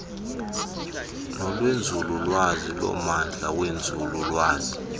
nolwenzululwazi lommandla wenzululwazi